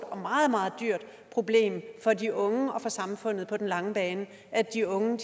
og meget meget dyrt problem for de unge og for samfundet på den lange bane at de unge